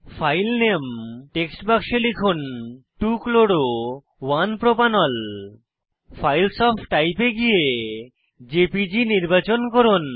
file নামে text বাক্সে লিখুন 2 chloro 1 propanol files of type এ গিয়ে জেপিজি নির্বাচন করুন